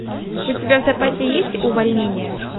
у тебя в запасе есть увольнение